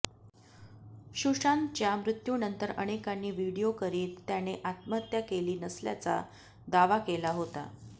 सुशांतच्या मृत्यूनंतर अनेकांनी व्हिडीओ करीत त्याने आत्महत्या केली नसल्याचा दावा केला होता